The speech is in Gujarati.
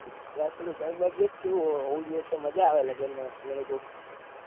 યાર થોડું ઘર બાર કેઉં ઉજળું તો મજા આવે લગન માં એવી કોક